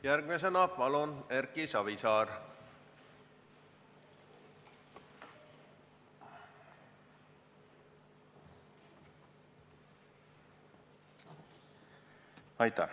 Järgmisena palun, Erki Savisaar!